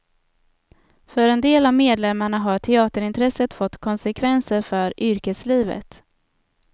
För en del av medlemmarna har teaterintresset fått konsekvenser för yrkeslivet.